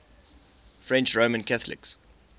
french roman catholics